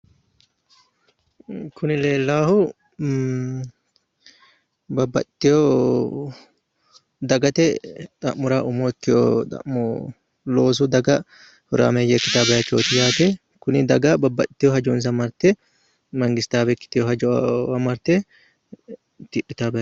Kuni leellaahu babbaxxeewo dagate xa'mora umo ikkeewo loosu xa'mo daga horaameeyye ikkiteewo dagaati yaate tini dagara babbaxiteewo hajonsa marte mangistaawe ikkiteewo hajowa marte tidhitaawaati yaate.